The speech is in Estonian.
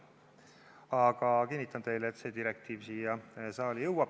Aga kinnitan teile, et see direktiiv siia saali jõuab.